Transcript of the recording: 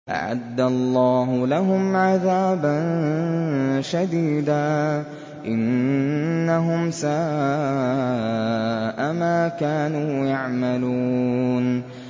أَعَدَّ اللَّهُ لَهُمْ عَذَابًا شَدِيدًا ۖ إِنَّهُمْ سَاءَ مَا كَانُوا يَعْمَلُونَ